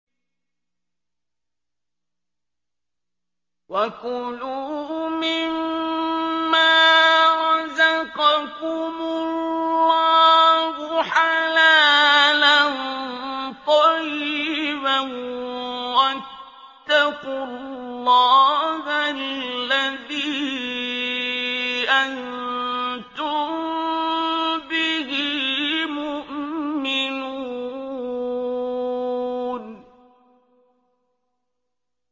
وَكُلُوا مِمَّا رَزَقَكُمُ اللَّهُ حَلَالًا طَيِّبًا ۚ وَاتَّقُوا اللَّهَ الَّذِي أَنتُم بِهِ مُؤْمِنُونَ